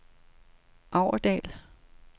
Aurdal